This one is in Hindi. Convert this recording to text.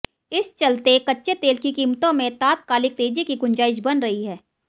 इस चलते कच्चे तेल की कीमतों में तात्कालिक तेजी की गुंजाइश बन रही है